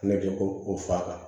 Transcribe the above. Ne bɛ ko o faga